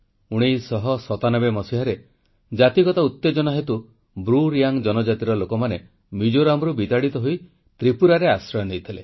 1997 ମସିହାରେ ଜାତିଗତ ଉତେଜନା ହେତୁ ବ୍ରୁ ରିୟାଙ୍ଗ୍ ଜନଜାତିର ଲୋକମାନେ ମିଜୋରାମ୍ରୁ ବିତାଡ଼ିତ ହୋଇ ତ୍ରିପୁରାରେ ଆଶ୍ରୟ ନେଇଥିଲେ